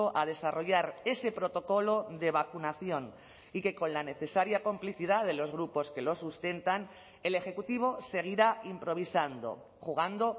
a desarrollar ese protocolo de vacunación y que con la necesaria complicidad de los grupos que lo sustentan el ejecutivo seguirá improvisando jugando